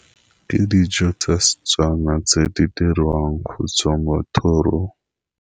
Ke dijo tsa Setswana tse di dirwang go tswa mo thorong.